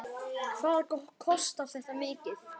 Hvað kostar þetta mikið?